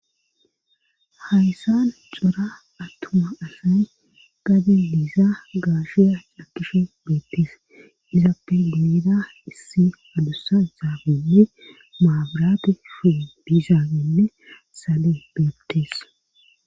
Hayssan cora attuma asay gadi liiza gaashiya cakishe beettis izaappe gineda issi hadussa isaabenne maabirate shu diizaagenne sale beebtees